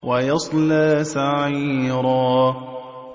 وَيَصْلَىٰ سَعِيرًا